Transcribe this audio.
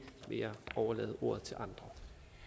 vil jeg overlade ordet til andre